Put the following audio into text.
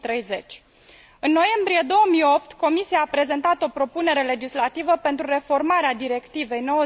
2030. În noiembrie 2008, Comisia a prezentat o propunere legislativă pentru reformarea Directivei nr.